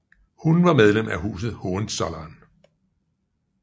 Hun var medlem af huset Hohenzollern